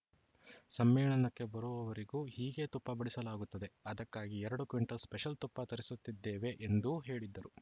ಸಮ್ಮೇಳನಕ್ಕೆ ಬರುವವರಿಗೂ ಹೀಗೇ ತುಪ್ಪ ಬಡಿಸಲಾಗುತ್ತದೆ ಅದಕ್ಕಾಗಿ ಎರಡು ಕ್ವಿಂಟಲ್‌ ಸ್ಪೆಷಲ್‌ ತುಪ್ಪ ತರಿಸುತ್ತಿದ್ದೇವೆ ಎಂದೂ ಹೇಳಿದ್ದರು